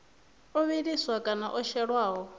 o vhiliswaho kana o shelwaho